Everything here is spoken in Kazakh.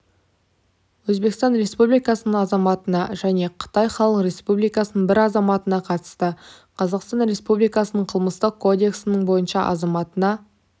өзбекстан республикасының азаматына және қытай халық республикасының бір азаматына қатысты қазақстан республикасының қылмыстық кодексінің бойынша азаматына